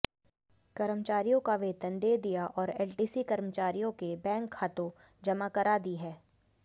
कर्मचारियों का वेतन दे दिया और एलटीसी कर्मचारियों के बैंक खातों जमा करा दी है